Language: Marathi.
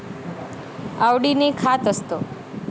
आवडीने खात असत.